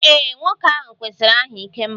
Ee, nwoke ahụ kwesịrị aha 'ikemba'